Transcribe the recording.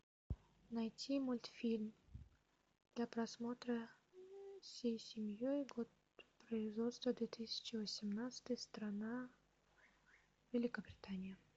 найти мультфильм для просмотра всей семьей год производства две тысячи восемнадцатый страна великобритания